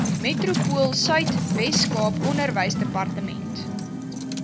metropoolsuid weskaap onderwysdepartement